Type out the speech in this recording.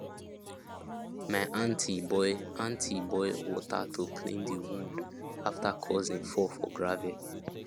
my aunti boil aunti boil water to clean the wound after cousin fall for gravel